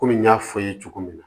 Komi n y'a fɔ aw ye cogo min na